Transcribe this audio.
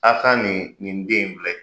A ka nin nin den in filɛ